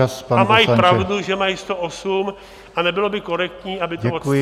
... a mají pravdu, že mají 108 a nebylo by korektní, aby to odstřihli.